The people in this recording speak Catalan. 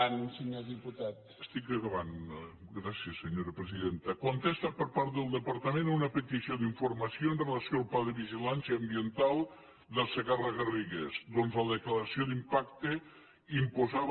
estic acabant gràcies senyora presidenta es contesta per part del departament a una petició d’informació amb relació al pla de vigilància ambiental del segarra garrigues ja que la declaració d’impacte imposava